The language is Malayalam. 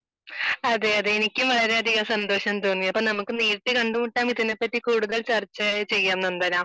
അതെയതെ എനിക്കും വളരെയധികം സന്തോഷം തോന്നി അപ്പൊ നമുക്ക് നേരിട്ട് കണ്ടുമുട്ടിയാൽ ഇതിനെപ്പറ്റി കൂടുതൽ ചർച്ച ചെയ്യാം നന്ദന